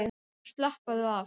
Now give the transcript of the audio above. Og slappaðu af!